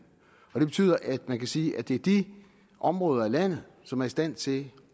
og det betyder at man kan sige at det er de områder i landet som er i stand til